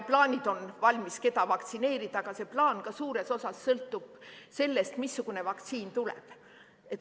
Plaanid on valmis, keda vaktsineerida, aga see plaan suures osas sõltub sellest, missugune vaktsiin tuleb.